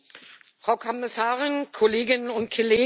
Frau Kommissarin, Kolleginnen und Kollegen!